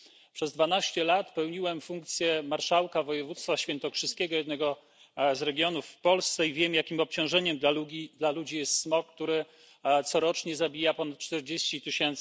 Przez 12 lat pełniłem funkcję marszałka województwa świętokrzyskiego jednego z regionów w Polsce i wiem, jakim obciążeniem dla ludzi jest smog, który corocznie zabija ponad 40 tys.